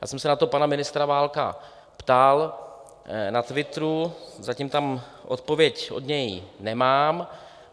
Ptal jsem se na to pana ministra Válka, ptal na Twitteru, zatím tam odpověď od něj nemám.